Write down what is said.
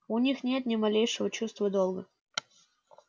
у них нет ни малейшего чувства долга